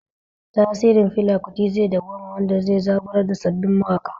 Tasirin Fela Kuti zai dawwama, wanda zai zaburar da sabbin mawaƙa